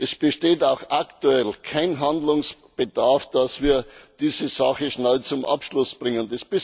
Es besteht auch aktuell kein Handlungsbedarf, dass wir diese Sache schnell zum Abschluss bringen.